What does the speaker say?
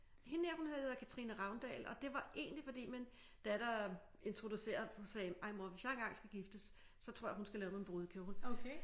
Hende her hun hedder Katrine Ravndal og det var egentlig fordi min datter introducerede og sagde ej mor hvis jeg engang skal giftes så tror jeg hun skal lave min brudekjole